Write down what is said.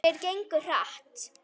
Þeir gengu hratt.